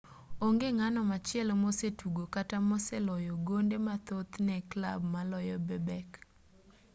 onge ng'ano machielo mosetugo kata moseloyo gonde mathoth ne clab maloyo bebek